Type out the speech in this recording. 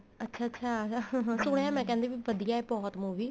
ਅੱਛਾ ਅੱਛਾ ਸੁਣਿਆ ਮੈਂ ਕਹਿੰਦੇ ਵੀ ਵਧੀਆ ਬਹੁਤ movie